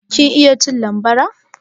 Kin iya cin bambara?